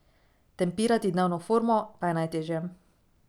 Tempirati dnevno formo pa je najtežje.